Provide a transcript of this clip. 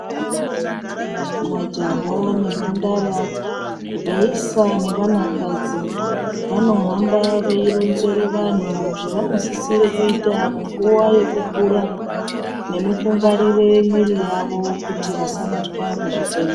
Majaha nemhandara vaisa nevana kadzi vanohamba veironzere vanhu zvevanosisire kuita munguva yekukura nemukungwarire miiri yavo kuti vasabatwa ngezvitenda.